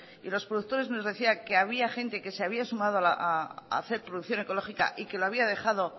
y los productores nos decían que había gente que se había sumado a hacer producción ecológica y que lo había dejado